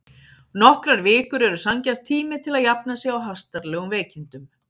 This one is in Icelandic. Nokkrar vikur eru sanngjarn tími til að jafna sig á hastarlegum veikindum.